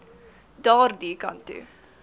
daardie kant toe